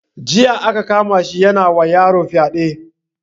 Jiya aka kama shi yana wa yaron fyade.